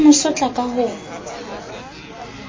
a mo sotla ka ho